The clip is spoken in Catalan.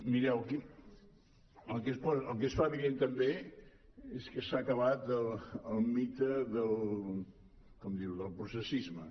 mireu el que es fa evident també és que s’ha acabat el mite del processisme